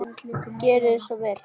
Gjörið þið svo vel.